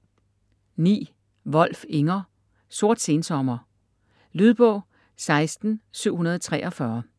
Wolf, Inger: Sort sensommer Lydbog 16743